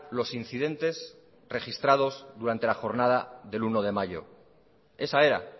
los incidentes registrados durante la jornada del uno de mayo esa era